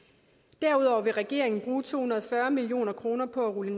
derudover vil regeringen bruge to hundrede og fyrre million kroner på at rulle